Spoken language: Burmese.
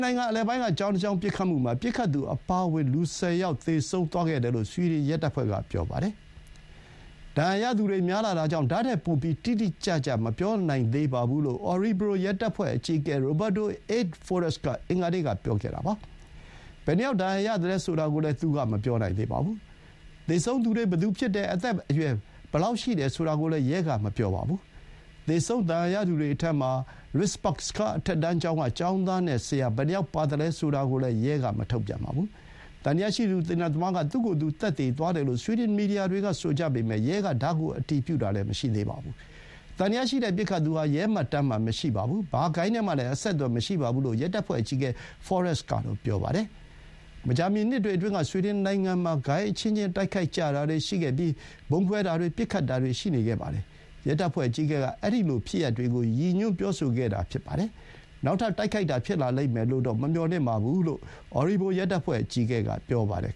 နိုင်ငံ အလယ်ပိုင်းက ကျောင်းတကျောင်း ပစ်ခတ်မှုမှာ ပစ်ခတ်သူအပါအဝင် လူ ၁၀ ယောက် သေဆုံးသွားခဲ့တယ်လို့ ဆွီဒင်ရဲတပ်ဖွဲ့က ပြောပါတယ်။ ဒဏ်ရာရသူတွေ များလှတာကြောင့် ဒါ့ထက်ပိုပြီး တိတိကျကျ မပြောနိုင်သေးပါဘူးလို့ Orebro ရဲတပ်ဖွဲ့အကြီးအကဲ Roberto Eid Forest က အင်္ဂါနေ့က ပြောခဲ့တာပါ။ ဘယ်နှယောက် ဒဏ်ရာရသလဲ ဆိုတာကိုလည်း သူက မပြောနိုင်သေးပါဘူး။ သေဆုံးသူတွေ ဘယ်သူဖြစ်တယ်၊ အသက် ဘယ်အရွယ် ဖြစ်တယ်ဆိုတာကိုလည်း ရဲက မပြောပါဘူး။ သေဆုံး ဒဏ်ရာရသူတွေထဲမှာ Risbergska အထက်တန်းကျောင်းက ကျောင်းသားနဲ့ ဆရာ ဘယ်နှယောက်ပါသလဲ ဆိုတာကိုလည်း ရဲက မထုတ်ပြန်သေးပါဘူး။ သံသယရှိသူ သေနတ်သမားက သူ့ကိုယ်သူ သတ်သေသွားတယ်လို့ ဆွီဒင် မီဒီယာတွေက ဆိုကြပေမဲ့ ရဲက ဒါကို အတည်ပြုတာ မရှိသေးပါဘူး။ သံသယရှိတဲ့ ပစ်ခတ်သူဟာ ရဲမှတ်တမ်းမှာ မရှိပါဘူး။ ဘာဂိုဏ်းနဲ့မှလည်း အဆက်အသွယ်မရှိပါဘူးလို့ ရဲတပ်ဖွဲ့အကြီးအကဲ Forest က ပြောပါတယ်။ မကြာမီ နှစ်တွေအတွင်းက ဆွီဒင်နိုင်ငံမှာ ဂိုဏ်းအချင်းချင်း တိုက်ခိုက်ကြတာတွေရှိပြီး ဗုံးခွဲတာတွေ၊ ပစ်ခတ်တာတွေ ရှိခဲ့ပါတယ်။ ရဲတပ်ဖွဲ့အကြီးအကဲက အဲဒီလိုဖြစ်ရပ်တွေကို ရည်ညွှန်းပြောဆိုခဲ့တာပါ။ နောက်ထပ် တိုက်ခိုက်တာ ဖြစ်လာလိမ့်မယ်လို့တော့ မမျှော်လင့်ပါဘူးလို့ Orebro ရဲတပ်ဖွဲ့ အကြီးအကဲက ပြောပါတယ်